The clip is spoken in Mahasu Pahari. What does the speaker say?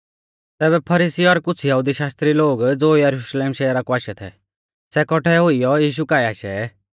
तैबै फरीसी और कुछ़ यहुदी शास्त्री लोग ज़ो यरुशलेम शहरा कु आशै थै सै कौठै हुइयौ यीशु काऐ आशै